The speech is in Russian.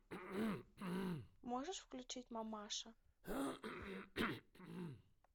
можешь включить мамаша